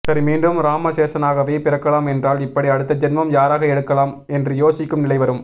சரி மீண்டும் ராமசேஷனாகவே பிறக்கலாம் என்றால் இப்படி அடுத்த ஜென்மம் யாராக எடுக்கலாம் என்று யோசிக்கும் நிலை வரும்